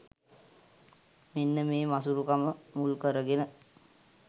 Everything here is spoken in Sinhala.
මෙන්න මේ මසුරුකම මුල්කරගෙන